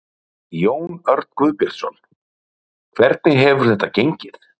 Jón Örn Guðbjartsson: Hvernig hefur þetta gengið?